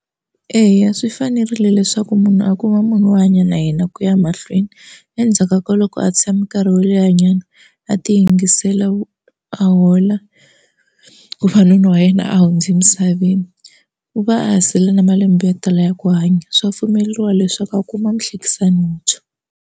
Eya swi fanerile leswaku munhu a kuma munhu wo hanya na yena ku ya mahlweni endzhaka ka loko a tshami nkarhi wo lehanyana a ti yingisela a hola ku fa nuna wa yena a hundze misaveni u va a ha sele na malembe yo tala ya ku hanya swa pfumeleriwa leswaku a kuma muhlekisani muntshwa.